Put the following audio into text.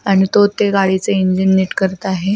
आणि तो ते गाडीचे इंजिन निट करत आहे.